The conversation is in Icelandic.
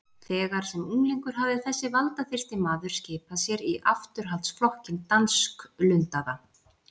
Þegar sem unglingur hafði þessi valdaþyrsti maður skipað sér í afturhaldsflokkinn dansklundaða